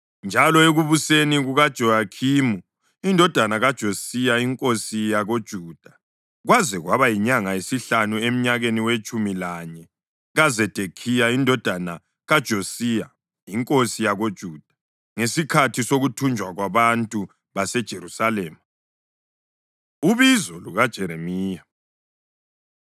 njalo ekubuseni kukaJehoyakhimi indodana kaJosiya inkosi yakoJuda, kwaze kwaba yinyanga yesihlanu emnyakeni wetshumi lanye kaZedekhiya indodana kaJosiya inkosi yakoJuda, ngesikhathi sokuthunjwa kwabantu baseJerusalema. Ubizo LukaJeremiya